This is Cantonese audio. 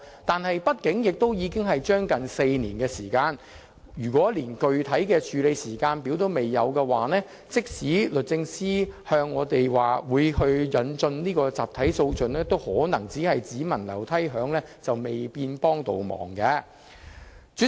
但是，畢竟已過了接近4年，如果連具體的處理時間表也仍然欠奉，即使律政司告訴我們會引進集體訴訟，可能也只聞樓梯響，未見得能有甚麼幫助。